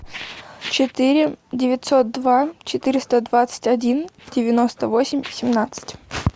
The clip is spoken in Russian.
четыре девятьсот два четыреста двадцать один девяносто восемь семнадцать